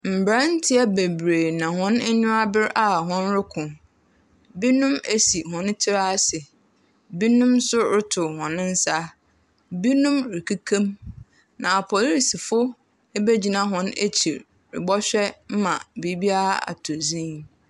Mmeranteɛ bebree na hɔn enyi abere a wɔroko, binom esi hɔn tsir ase, binom nso rotow hɔn nsa, binom rekeka mu. Na apolisifo ebegyina ekyir robɔhwɛ ma biribiara atɔ dzinn.